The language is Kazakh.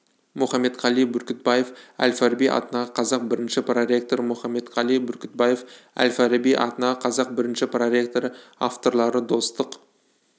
мұхаметқали бүркітбаев әл-фараби атындағы қазақ бірінші проректоры мұхаметқали бүркітбаев әл-фараби атындағы қазақ бірінші проректоры авторлары достық